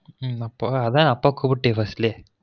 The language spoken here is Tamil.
உம் அப்ப அதான் அப்பொ குப்டியே first லே